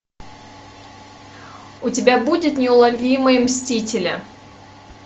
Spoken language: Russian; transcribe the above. у тебя будет неуловимые мстители